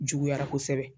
Juguyara kosɛbɛ